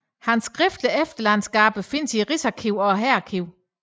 Hans skriftlige efterladenskaber findes i Rigsarkivet og Hærarkivet